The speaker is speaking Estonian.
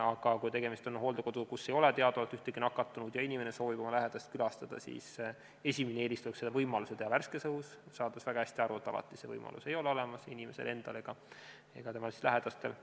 Aga kui tegemist on hooldekoduga, kus ei ole teadaolevalt ühtegi nakatunut ja inimene soovib oma lähedast külastada, siis esimene eelistus on seda teha võimaluse korral värskes õhus, ehkki saame väga hästi aru, et alati ei ole seda võimalust inimesel endal ega ka tema lähedastel.